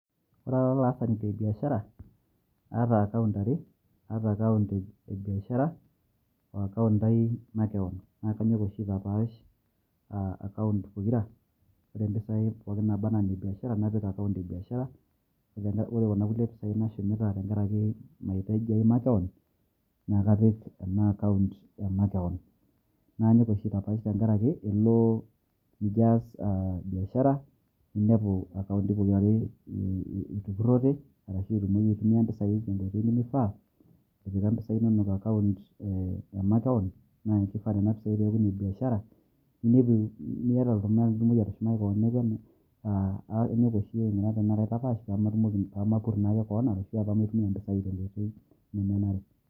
ore ara olaasani lebiashara na kaata account aree ata account ee biashara oo account ai makewon na kanyok oshi aitapash aa account pookira ore mpisai pooki nabaana nebiashara napik account ee biashara pemeruoyo kuna kulie pisai nashumita tenkaraki maitaji ai makewon na kapik ena account emakewon nanyok oshi aitapash tenkaraki elo nijio as biashara ninepu accounti pokirare etupurote arashu inyia mpisai tenkoitoi nemifaa itipika mpisai inono eccount emakewon na ore nane pisai na nebiashara niata oltumai nitumoki atushumaki kewon aaa anyok oshi ajo aitapash pemapur naa ake kewon ashu aitumia mpisai tenkoitoi nemenare